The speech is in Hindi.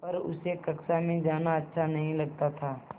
पर उसे कक्षा में जाना अच्छा नहीं लगता था